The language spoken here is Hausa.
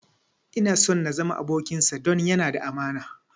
Ina so na zama abokinsa don yana da amana